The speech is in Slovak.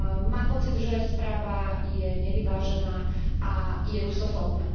Mám pocit, že správa je nevyvážená a je rusofóbna.